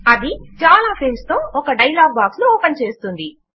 అది చాలా ఫీల్డ్స్ తో ఒక డయలాగ్ బాక్స్ ను ఓపెన్ చేస్తుంది